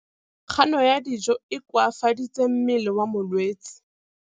Kganô ya go ja dijo e koafaditse mmele wa molwetse.